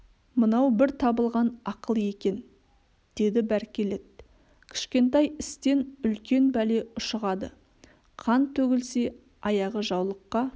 мынау бір табылған ақыл екен деді бәркелет кішкентай істен үлкен бәле ұшығады қан төгілсе аяғы жаулыққа